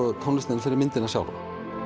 tónlistina fyrir myndina sjálfa